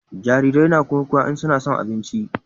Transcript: jarirai na kuka in suna son abinci